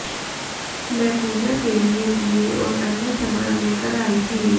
मैं पूजा के लिए दीये और अन्य सामान लेकर आई थी